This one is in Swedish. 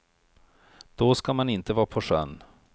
Då ska man inte vara på sjön.